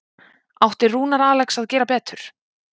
Átti Rúnar Alex að gera betur?